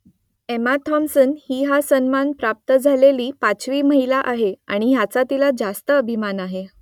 Emma Thompson ही हा सन्मान प्राप्त झालेली पाचवी महिला आहे आणि याचा तिला रास्त अभिमान आहे